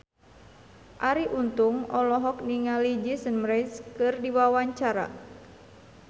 Arie Untung olohok ningali Jason Mraz keur diwawancara